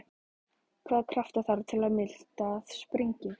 Hvaða krafta þarf til að miltað springi?